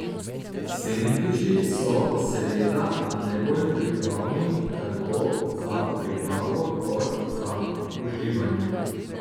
Sendviči so seveda najbolj pripravni tako za pripravo kot za uživanje.